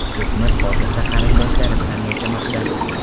O‘smir hozirda qarindoshlari bilan yashamoqda.